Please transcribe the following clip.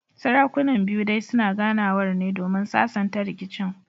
Sarakunan biyu dai suna ganawar ne domin sasanta rikicin